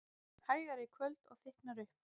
Hægari í kvöld og þykknar upp